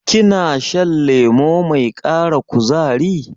Kina shan lemo mai ƙara kuzari?